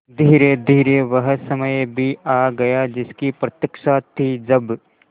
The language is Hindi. धीरेधीरे वह समय भी आ गया जिसकी प्रतिक्षा थी जब